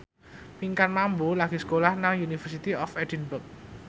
Pinkan Mambo lagi sekolah nang University of Edinburgh